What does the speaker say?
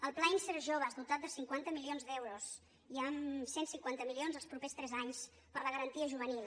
el pla inserjoves dotat de cinquanta milions d’euros i amb cent i cinquanta milions els propers tres anys per a la garantia juvenil